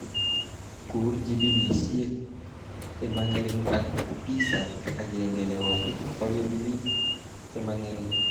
Kur jibinisjek chemangering ak pisa agenge nebo polipilik chemangering